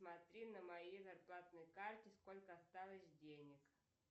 посмотри на моей зарплатной карте сколько осталось денег